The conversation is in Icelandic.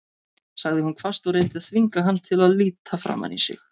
sagði hún hvasst og reyndi að þvinga hann til að líta framan í sig.